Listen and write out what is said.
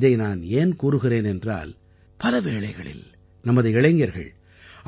இதை நான் ஏன் கூறுகிறேன் என்றால் பல வேளைகளில் நமது இளைஞர்கள்